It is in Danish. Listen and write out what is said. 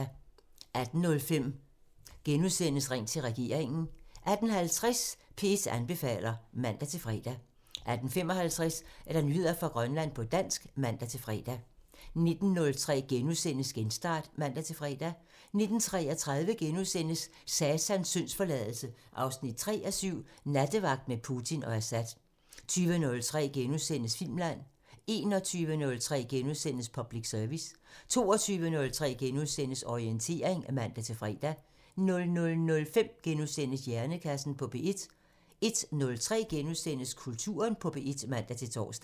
18:05: Ring til regeringen *(man) 18:50: P1 anbefaler (man-fre) 18:55: Nyheder fra Grønland på dansk (man-fre) 19:03: Genstart *(man-fre) 19:33: Satans syndsforladelse 3:7 – Nattevagt med Putin og Assad * 20:03: Filmland *(man) 21:03: Public Service *(man) 22:03: Orientering *(man-fre) 00:05: Hjernekassen på P1 *(man) 01:03: Kulturen på P1 *(man-tor)